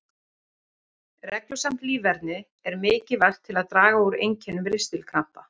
Reglusamt líferni er mikilvægt til að draga úr einkennum ristilkrampa.